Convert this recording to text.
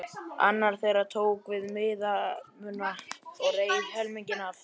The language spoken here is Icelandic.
Annar þeirra tók við miðanum og reif helminginn af.